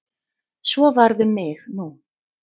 Svo varð um mig nú.